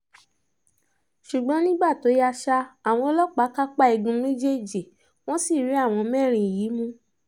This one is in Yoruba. ṣùgbọ́n nígbà tó yá ṣá àwọn ọlọ́pàá kápá igun méjèèjì wọ́n sì rí àwọn mẹ́rin yìí mú